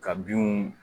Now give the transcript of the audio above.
Ka binw